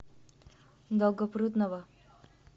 долгопрудного